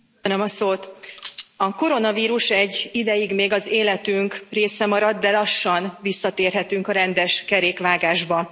Köszönöm a szót! A koronavírus egy ideig még az életünk része marad, de lassan visszatérhetünk a rendes kerékvágásba.